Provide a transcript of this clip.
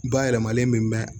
Bayɛlɛmalen bɛ mɛn